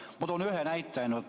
Ma toon ainult ühe näite.